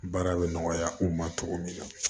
Baara bɛ nɔgɔya o ma cogo min na